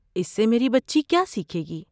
اس سے میری بچی کیا سیکھے گی؟